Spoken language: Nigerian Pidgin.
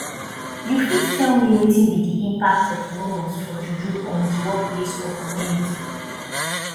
you fit tell me wetin be di impact of rumors for juju on di workplace or community